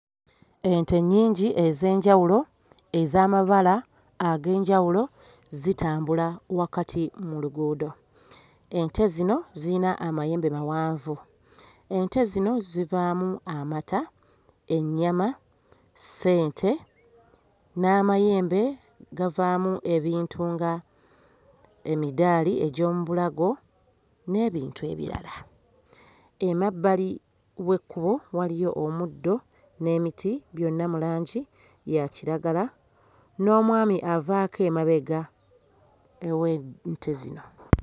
Ente nnyingi ez'enjawulo ez'amabala ag'enjawulo zitambula wakati mu luguudo. Ente zino ziyina amayembe mawanvu, ente zino zivaamu amata, ennyama, ssente n'amayembe gavaamu ebintu nga emiddaali egy'omu bulago n'ebintu ebirala. Emabbali w'ekkubo waliyo omuddo n'emiti byonna mu langi ya kiragala n'omwami avaako emabega ew'ente zino.